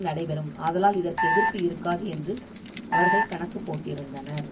நடைபெறும் ஆதலால் இதற்கு எதிர்ப்பு இருக்காது என்று அவர்கள் கணக்கு போட்டிருந்தனர்